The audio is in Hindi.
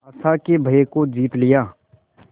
आशा के भय को जीत लिया